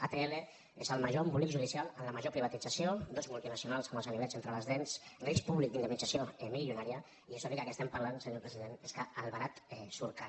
atll és el major embolic judicial amb la major privatització dues multinacionals amb els gani·vets entre les dents risc públic d’indemnització milio·nària i és obvi que aquí estem parlant senyor president que el barat surt car